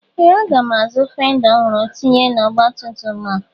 Ee! Aga m azụ fenda ọhụrụ tinye n'ọgbatumtum a.